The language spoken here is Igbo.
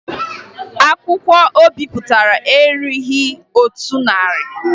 Akwụkwọ o bipụtara erughi otu narị